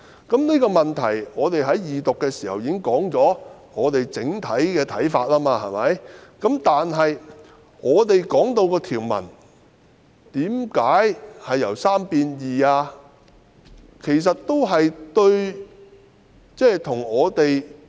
就這個問題，我們已在二讀辯論時提出整體的看法，但我們質疑條文為何由3名法官改為兩名？